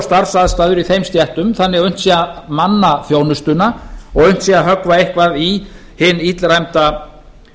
starfsaðstæður í þeim stéttum þannig að unnt sé að manna þjónustuna og unnt sé að höggva eitthvað í hinn illræmda